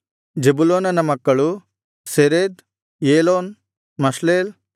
ಜೆಬುಲೂನನ ಮಕ್ಕಳು Sered Elon Jahleel